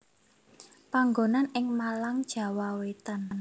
Panggonan ing Malang Jawa Wetan